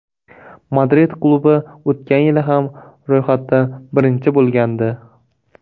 Madrid klubi o‘tgan yili ham ro‘yxatda birinchi bo‘lgandi.